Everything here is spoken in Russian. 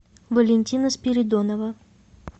валентина спиридонова